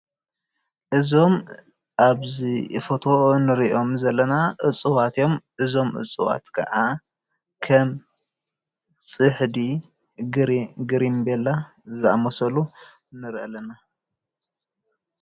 እዞም ኣብዚ ፎቶ እንሪኦም ዘለና እፅዋት እዮም፡፡ እዞም እፅዋት ከዓ ከም ፅሕዲ፣ ግሪቤላ ዝኣምሰሉ ንሪኢ ኣለና፡፡